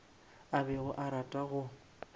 a bego a rata go